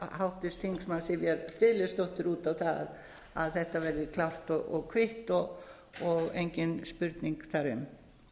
háttvirts þingmanns sivjar friðleifsdóttur út á það að þetta veðri klárt og kvitt og engin spurning þar